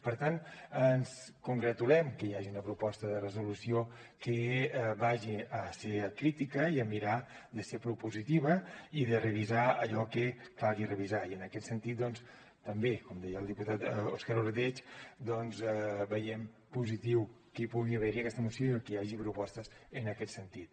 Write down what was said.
per tant ens congratulem que hi hagi una proposta de resolució que vagi a ser crítica i a mirar de ser propositiva i de revisar allò que calgui revisar i en aquest sentit també com deia el diputat òscar ordeig doncs veiem positiu que hi pugui haver aquesta moció i que hi hagi propostes en aquest sentit